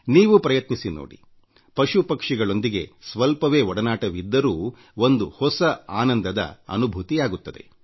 ನೀವೂ ಪ್ರಯತ್ನಿಸಿ ನೋಡಿ ಪಶು ಪಕ್ಷಿಗಳೊಂದಿಗೆ ಕೊಂಚ ಒಡನಾಟವಿದ್ದರೂ ಒಂದು ಹೊಸ ಆನಂದದ ಅನುಭವ ನೀಡುತ್ತದೆ